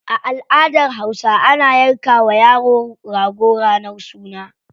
A aladar hausa, ana yanka wa yaro rago ranar suna.